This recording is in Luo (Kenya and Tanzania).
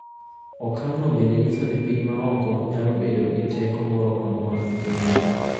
Okang’no bende nyiso ni piny ma oko nyalo bedo gi teko moro amora e pinyno.